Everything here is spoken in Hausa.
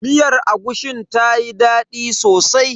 Miyar agushin tayi daɗi sosai.